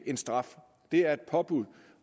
en straf det er et påbud